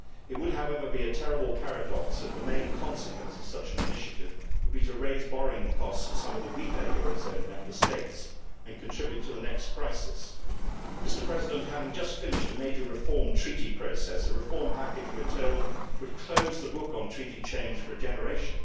It would however be a terrible paradox if the main consequence of such an initiative would be to raise borrowing costs for some of the weaker eurozone Member States and contribute to the next crisis. Having just finished a major reform treaty process, a reform package, we are told, would close the book on treaty change for a generation.